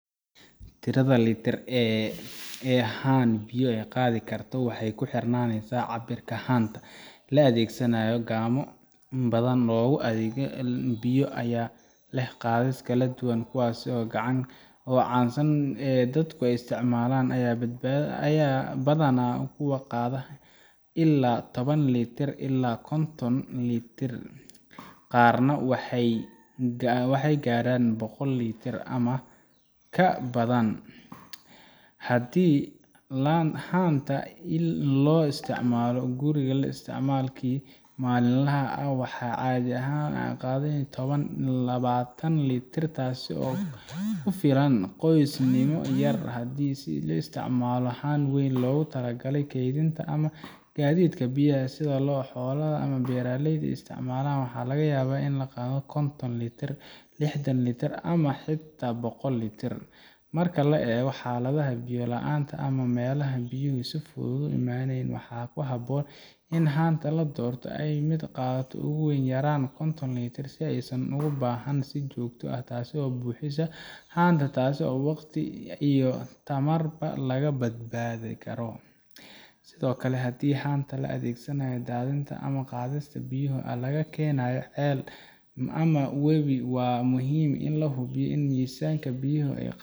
tirada litir ee haan biyo ah ay qaadi karto waxay ku xirnaanaysaa cabbirka haanta la adeegsanayo haamo badan oo lagu qaado biyo ayaa leh qaadis kala duwan kuwa ugu caansan ee dadku isticmaalaan ayaa badanaa ah kuwa qaada ilaa toban litir ilaa konton litir qaarna waxay gaaraan boqol litir ama ka badan haddii haanta loo isticmaalo guriga ama isticmaalkii maalinlaha ahaa waxaa caadi ah in ay qaaddo toban ilaa labaatan litir taas oo ku filan qoysnimo yar haddii se la isticmaalayo haan weyn oo loogu talagalay kaydinta ama gaadiidka biyaha sida kuwa xoolaha ama beeraleyda isticmaalaan waxaa laga yaabaa in ay qaado konton litir lixdan litir ama xitaa boqol litir marka la eego xaaladda biyo la’aanta ama meelaha aan biyuhu si fudud uga imaanayn waxaa habboon in haanta la doorto ay ahaato mid qaaddo ugu yaraan konton litir si aysan ugu baahnaan in si joogto ah loo buuxiyo haanta taas oo waqti iyo tamarba laga badbaadi karo sidoo kale haddii haanta loo adeegsanayo daadinta ama qaadista biyo laga keenayo ceel ama webi waa muhiim in la hubiyo in miisaanka biyaha